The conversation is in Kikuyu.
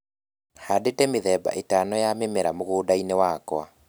Handĩte mĩthemba ĩtano ya mĩmera mũgũnda-inĩ wakwa